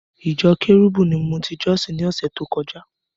Ìjọ Cherubim ni mo ti jọ́sìn ni ọ̀sẹ̀ tó kọjá.